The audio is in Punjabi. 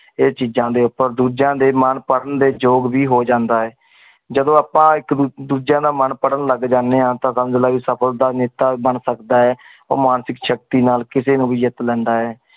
ਏ ਚੀਜਾ ਦੇ ਉਪਰ ਦੁਜਿਯਾ ਦੇ ਮਨ ਪੜਣ ਦੇ ਜੋਗ ਵੀ ਹੋ ਜਾਂਦਾ ਆ। ਜਦੋਂ ਅਪਾ ਇਕ ਦੁਜਿਯਾ ਦਾ ਮਨ ਪੜਨ ਲਗ ਜਾਂਦੇ ਆਂ ਤਾਂ ਸਮਜ ਲੈ ਸਫਲਤਾ ਬਣ ਸਕਦਾ ਆ। ਓ ਮਾਨਸਿਕ ਸ਼ਕਤੀ ਨਾਲ ਕਿਸੀ ਨੂ ਵੀ ਜਿਤ ਲੈਂਦਾ ਆ।